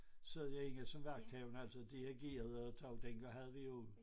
Sad jeg inde som vagthavende altså dirigerede og jeg tror dengang havde vi jo